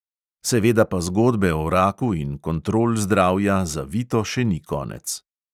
Seveda pa zgodbe o raku in kontrol zdravja za vito še ni konec.